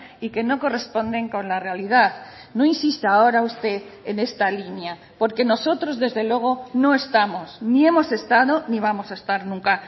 y que no corresponden con la realidad no insista ahora usted en esta línea porque nosotros desde luego no estamos ni hemos estado ni vamos a estar nunca